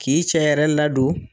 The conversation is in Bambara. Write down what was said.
K'i cɛ yɛrɛ ladon.